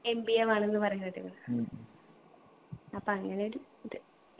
MBA വേണംന്ന് പറയുന്ന കേട്ടിനു അപ്പൊ അങ്ങനൊരു ഇത്